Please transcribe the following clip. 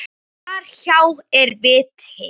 Þar hjá er viti.